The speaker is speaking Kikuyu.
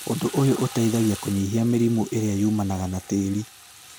ũndu ũyũ ũteithagia kũnyihia mĩrimũ ĩrĩa yumanaga na tĩri.